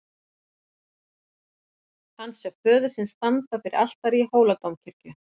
Hann sá föður sinn standa fyrir altari í Hóladómkirkju.